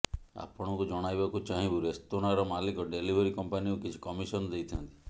ଆପଣଙ୍କୁ ଜଣାଇବାକୁ ଚାହିଁବୁ ରେସ୍ତୋରାଁର ମାଲିକ ଡେଲିଭରୀ କମ୍ପାନୀକୁ କିଛି କମିଶନ ଦେଇଥାନ୍ତି